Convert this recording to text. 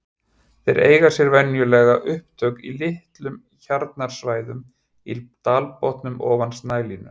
Þeir eiga sér venjulega upptök í litlum hjarnsvæðum í dalbotnum ofan snælínu.